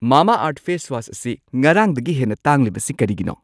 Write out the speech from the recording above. ꯃꯥꯃꯥꯑꯔꯊ face wash ꯑꯁꯤ ꯉꯔꯥꯡꯗꯒꯤ ꯍꯦꯟꯅ ꯇꯥꯡꯂꯤꯕꯁꯤ ꯀꯔꯤꯒꯤꯅꯣ?